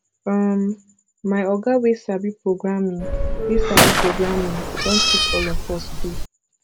um my oga wey sabi programming wey sabi programming don teach all of us too